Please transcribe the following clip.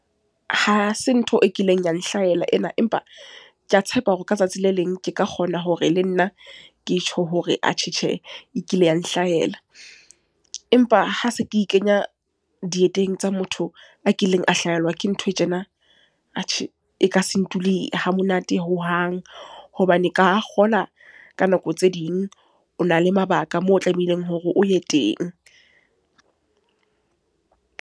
Ha se ntho e kileng ya nhlahella ena. Empa ke a tshepa hore ka tsatsi le leng ke ka kgona hore le nna ke tjho hore atjhe tjhe, e kile ya nhlahella. Empa ha se ke e ikenya dieteng tsa motho a kileng a hlahelwa ke ntho tjena, atjhe e ka se ntuli hamonate hohang. Hobane ka kgola ka nako tse ding o na le mabaka moo o tlamehileng hore o ye teng.